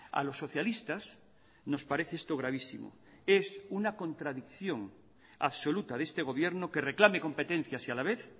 a los socialistas nos parece esto gravísimo es una contradicción absoluta de este gobierno que reclame competencias y a la vez